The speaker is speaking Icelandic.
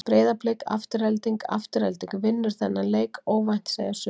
Breiðablik- Afturelding Afturelding vinnur þennan leik óvænt segja sumir.